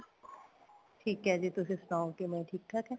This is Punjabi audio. ਠੀਕ ਏ ਜੀ ਤੁਸੀਂ ਸੁਣਾਉ ਕਿਵੇਂ ਠੀਕ ਠਾਕ